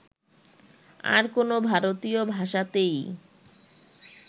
আর কোন ভারতীয় ভাষাতেই